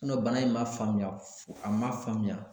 sinɔ bana in ma faamuya a ma faamuya